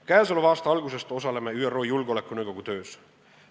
Käesoleva aasta algusest osaleme ÜRO Julgeolekunõukogu töös.